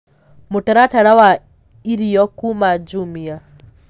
mũtaratara wa irĩo kũma jumia